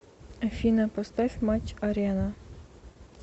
афина поставь матч арена